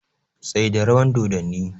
Tsaida rawan doddani!